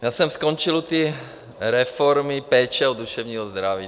Já jsem skončil ty reformy péče o duševní zdraví.